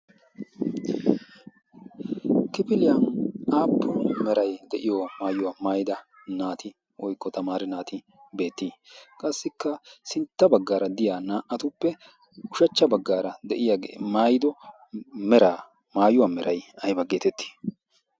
kifiliyan aappu merai de7iyo maayuwaa maayida naati woykko tamaare naati beettii? qassikka sintta baggaara diya naa77atuppe ushachcha baggaara de7iyaae maayido meraa maayuwaa merai aiba geetettii?